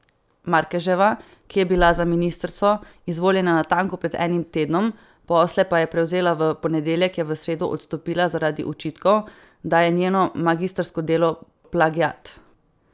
Markeževa, ki je bila za ministrico izvoljena natanko pred enim tednom, posle pa je prevzela v ponedeljek, je v sredo odstopila zaradi očitkov, da je njeno magistrsko delo plagiat.